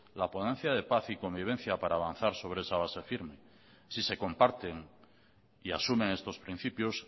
la ponencia de paz y convivencia para avanzar sobre esa base firme si se comparten y asumen estos principios